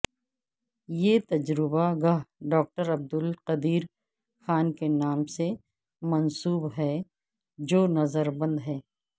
یہ تجربہ گاہ ڈاکٹر عبدالقدیر خان کے نام سے منسوب ہے جو نظر بند ہیں